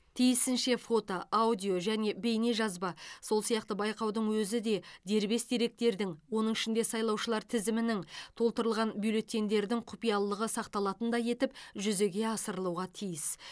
тиісінше фото аудио және бейнежазба сол сияқты байқаудың өзі де дербес деректердің оның ішінде сайлаушылар тізімінің толтырылған бюллетеньдердің құпиялылығы сақталатындай етіп жүзеге асырылуға тиіс